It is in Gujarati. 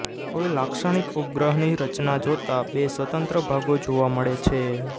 કોઈ લાક્ષણિક ઉપગ્રહની રચના જોતા બે સ્વતંત્ર ભાગો જોવા મળે છે